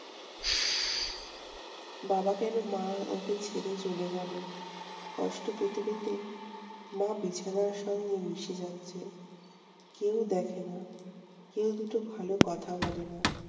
বাবা কেনো মা~ মাকে ছেড়ে চলে গেলো? কষ্ট পেতে পেতে মা বিছানার সঙ্গে মিশে যাচ্ছে। কেউ দেখেনা, কেউ দুটো ভালো কথা বলেনা।